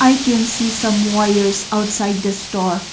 i can see some wires outside the store.